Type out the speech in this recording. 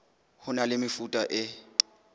ho na le mefuta e